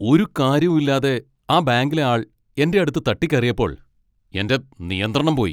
ഒരു കാര്യവും ഇല്ലാതെ ആ ബാങ്കിലെ ആൾ എൻ്റെ അടുത്ത് തട്ടിക്കയറിയപ്പോൾ എൻ്റെ നിയന്ത്രണം പോയി.